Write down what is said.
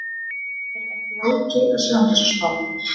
Er ekki Láki að sjá um þessa spá?